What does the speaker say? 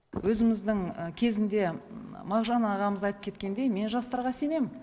өзіміздің кезінде мағжан ағамыз айтып кеткендей мен жастарға сенемін